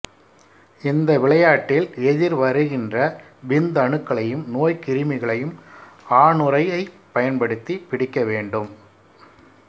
இந்த விளையாட்டில் எதிர்வருகின்ற விந்தணுக்களையும் நோய்க் கிருமிகளையும் ஆணுறையைப் பயன்படுத்தி பிடிக்கவேண்டும்